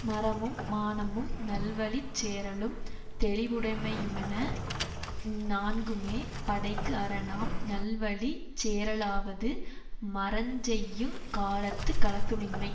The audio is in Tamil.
மறமும் மானமும் நல்லவழிச்சேறலும் தௌவுடைமையுமென இந்நான்குமே படைக்கு அரணாம் நல்வழிச் சேறலாவது மறஞ்செய்யுங் காலத்துக் கலக்க மின்மை